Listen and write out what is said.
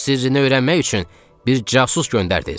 Suyun sirrini öyrənmək üçün bir casus göndərdiz.